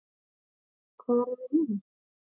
Hvar eru hinir?